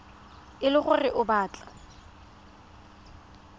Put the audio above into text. e le gore o batla